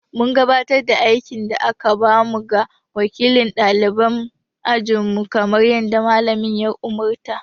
Mun gabatar da aikin da aka ba mu ga wakilin ɗaliban ajinmu kamar yadda Mallamin ya umurta.